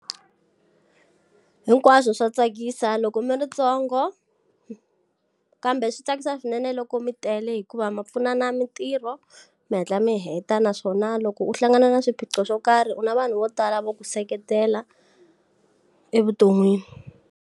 Hinkwaswo swa tsakisa loko mi ritsongo kambe swi tsakisa swinene loko mi tele hikuva ma pfunana mintirho mi hatla mi heta naswona loko u hlangana na swiphiqo swo karhi u na vanhu vo tala vo ku seketela evuton'wini.